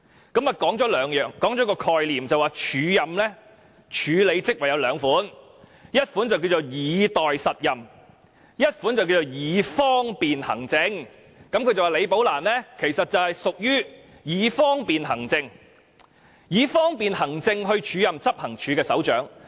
她提出了兩個概念，說署任安排分為兩種，其一是"以待實任"，其二是"以方便行政"，並說李女士其實是因為"以方便行政"而獲安排署任執行處首長一職。